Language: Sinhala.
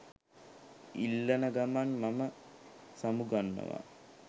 ඉල්ලන ගමන් මම සමුගන්නවා